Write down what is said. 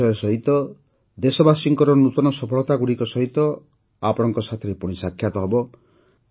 ନୂଆ ବିଷୟ ସହିତ ଦେଶବାସୀଙ୍କର ନୂତନ ସଫଳତାଗୁଡ଼ିକ ସହିତ ଆପଣଙ୍କ ସାଥିରେ ପୁଣି ସାକ୍ଷାତ ହେବ